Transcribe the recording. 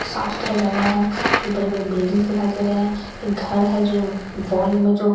साफ सुथरा जगह है बड़े बड़े बिल्डिंग्स दिखाई दे रहे हैं फिर घर है जो वॉल में जो--